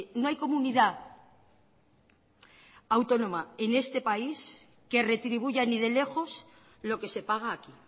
no hay comunidad autónoma en este país que retribuya ni de lejos lo que se paga aquí